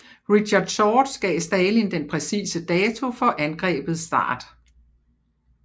Richard Sorge gav Stalin den præcise dato for angrebets start